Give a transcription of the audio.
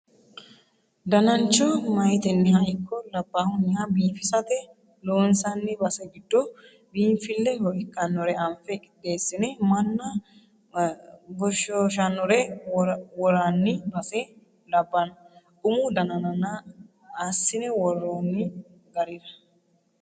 Danancho mayiteniha ikko labbaluha biifisate loonsanni base giddo biinfileho ikkanore anfe qixeesine manna goshshoshanore worani base labbano umu dananna assine worooni garira.